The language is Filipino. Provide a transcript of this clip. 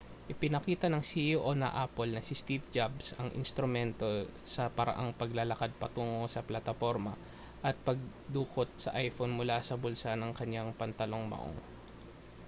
ipinakita ng ceo ng apple na si steve jobs ang instrumento sa paraang paglalakad patungo sa plataporma at pagdukot sa iphone mula sa bulsa ng kaniyang pantalong maong